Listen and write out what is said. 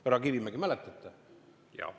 Härra Kivimägi, mäletate?